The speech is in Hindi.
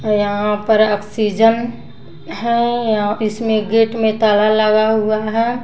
है यहाँ पर ऑक्सीजन है या इसमें गेट में ताला लगा हुआ है।